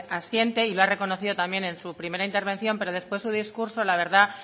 asiente y lo ha reconocido también en su primera intervención pero después su discurso la verdad